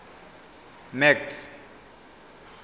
max